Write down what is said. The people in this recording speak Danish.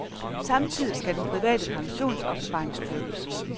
Samtidig skal den private pensionsopsparing styrkes.